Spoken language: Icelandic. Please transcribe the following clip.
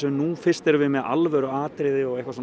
nú fyrst erum við með alvöru atriði